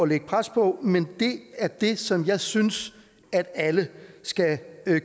lægge pres på men det er det som jeg synes alle skal